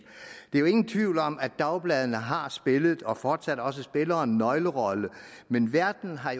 er jo ingen tvivl om at dagbladene har spillet og fortsat også spiller en nøglerolle men verden har